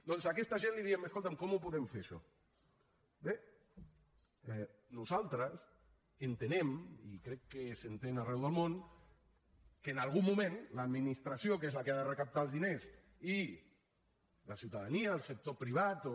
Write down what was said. doncs a aquesta gent li diem escolta’m com ho podem fer això bé nosaltres entenem i crec que s’entén arreu del món que en algun moment l’administració que és la que ha de recaptar els diners i la ciutadania el sector privat o